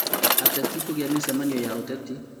atetĩ kugia mũcemanio ya ũtetĩ.